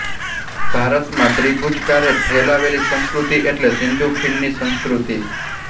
ભારત માં ત્રિભુજકારે ફેલાયેલી સંસ્કૃતિ એટ્લે સિંધુ ખીણ ની સંસ્કૃતિ